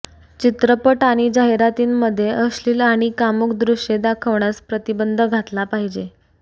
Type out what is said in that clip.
चित्रपट आणि जाहिरातींमध्ये अश्लील आणि कामुक दृश्ये दाखवण्यास प्रतिबंध घातला पाहिजे